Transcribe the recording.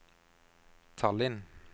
Tallinn